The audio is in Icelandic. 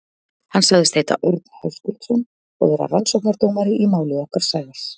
Hann sagðist heita Örn Höskuldsson og vera rannsóknardómari í máli okkar Sævars.